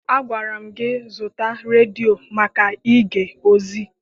Agwara m gị zụta redio maka ige ozi!